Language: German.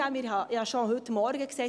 Ich habe es schon heute Morgen gesagt: